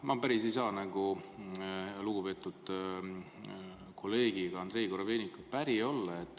Ma päris ei saa lugupeetud kolleegi Andrei Korobeinikuga päri olla.